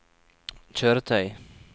kjøretøy